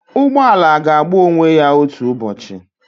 Ụgbọ ala ga-agba onwe ya otu ụbọchị